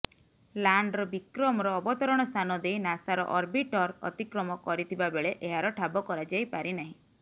lander ବିକ୍ରମର ଅବତରଣ ସ୍ଥାନ ଦେଇ ନାସାର ଅର୍ବିଟର ଅତିକ୍ରମ କରିଥିବାବେଳେ ଏହାର ଠାବ କରଯାଇପାରିନାହିଁ